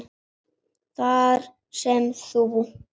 Þar sem þú